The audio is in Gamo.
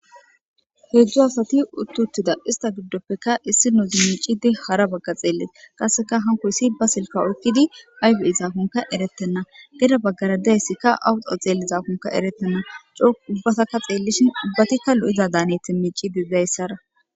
heedzjo asati uttuttida ista giddoppekka issi noozi miicidi hara bagga xeellit qasseka hankoyssi ba silka oykidi aybe izaakunka eretenna geda baggaradayssikka awuxo xeelli zaakunka erettenna coo ubbasaka xeellishin ubbatikka lo7ida daaneti miici digdayssara.